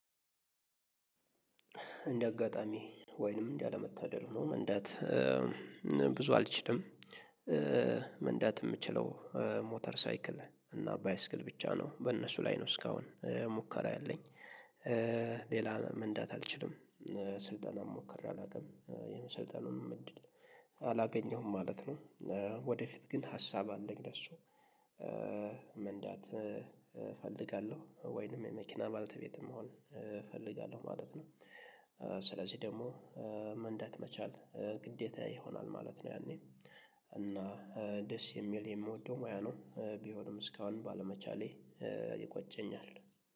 እንደ አጋጣሚ ወይንም እንዳለመታደል ሆኖ መንዳት ብዙ አልችልም። መንዳት የምችለው ሞተር ሳይክል እና ባይስክል ብቻ ነው በእነሱ ላይ ነው እስካሁን ሙከራ ያለኝ ሌላ መንዳት አልችልም ስልጠናም ሞከሬ አላውቅም የመሰልጠኑም እድል አላገኘሁም ማለት ነው። ወደፊት ግን ሀሳብ አለኝ ለእሱ መንዳት እፈልጋለሁ ወይንም የመኪና ባልተቤትም መሆንእፈልጋለሁ ማለት ነው። ስለዚህ ደግሞ መንዳት መቻል ግዴታየ ይሆናል ማለት ነው። ያኔ እና ደስ የሚል የምወደው ሙያ ነው ቢሆንም እስካሁን ባለመቻሌ ይቆጨኛል